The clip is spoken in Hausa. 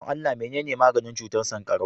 don Allah menene maganin cutar sankarau